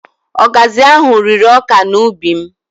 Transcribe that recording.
Ọgazị ahụ rịrị ọka n'ubi m